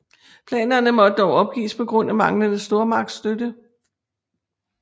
Planerne måtte dog opgives på grund af manglende stormagtsstøtte